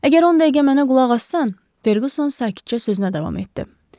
Əgər on dəqiqə mənə qulaq asan, Ferquson sakitcə sözünə davam etdi.